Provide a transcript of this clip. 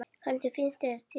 Hvernig finnst þér þetta lag?